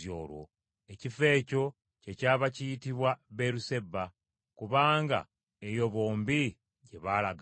Ekifo ekyo kyekyava kiyitibwa Beeruseba, kubanga eyo bombi gye baalagaanira.